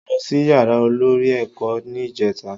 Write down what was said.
Mo lọ sí yàrá olórí ẹ̀kọ́ ní ìjèta